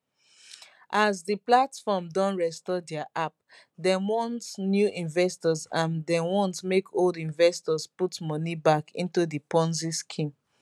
as di platform don restore dia app dem want new investors and dem want make old investors put money back into di ponzi scheme